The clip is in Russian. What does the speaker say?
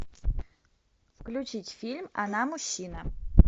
включить фильм она мужчина